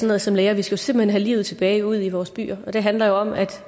noget som læger vi skal simpelt hen have livet tilbage ude i vores byer og det handler jo om at